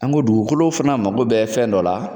An go dugukolo fana mago bɛ fɛn dɔ la